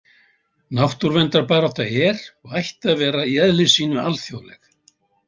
Náttúruverndarbarátta er, og ætti að vera, í eðli sínu alþjóðleg.